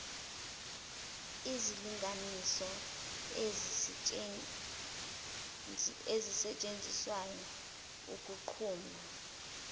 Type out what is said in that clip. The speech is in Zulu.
izilinganiso ezisetshenziswayo ukunquma